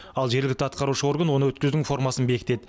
ал жергілікті атқарушы орган оны өткізудің формасын бекітеді